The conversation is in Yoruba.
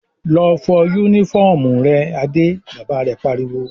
"Lọ fọ únífọ́ọ́mù rẹ Adé!" Bàbá rẹ̀ pariwo.